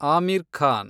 Aamir Khan